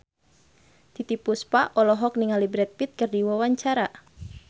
Titiek Puspa olohok ningali Brad Pitt keur diwawancara